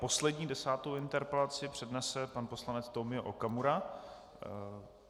Poslední, desátou interpelaci přednese pan poslanec Tomio Okamura.